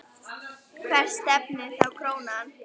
Hvert stefnir þá krónan?